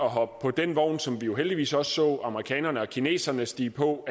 hoppe på den vogn som vi jo heldigvis også så amerikanerne og kineserne stige på